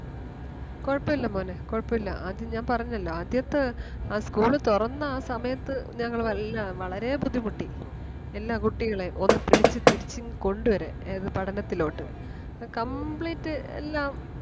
കൊഴപ്പില്ല മോനെ കൊഴപ്പില്ല. ആദ്യം ഞാൻ പറഞ്ഞല്ലോ ആദ്യത്തെ ആ school തൊറന്ന ആ സമയത്ത് ഞങ്ങള് എല്ലാം വളരേ ബുദ്ധിമുട്ടി. എല്ലാ കുട്ടികളേം ഒന്ന് പിടിച്ച് തിരിച്ച് ഇങ്ങ് കൊണ്ട് വരാൻ ഏത് പഠനത്തിലോട്ട് complete എല്ലാം